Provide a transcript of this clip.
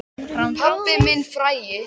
Pabbinn frægi.